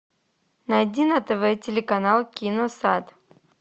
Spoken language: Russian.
найди на тв телеканал киносад